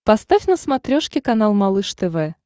поставь на смотрешке канал малыш тв